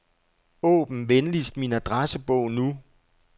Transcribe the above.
Åbn venligst min adressebog nu.